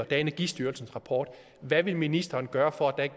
er energistyrelsens rapport hvad vil ministeren gøre for at